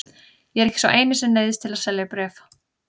Ég er ekki sá eini sem neyðist til að selja bréf.